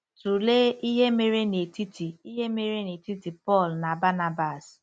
Tụlee ihe mere n'etiti ihe mere n'etiti Pọl na Banabas.